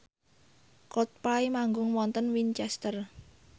Coldplay manggung wonten Winchester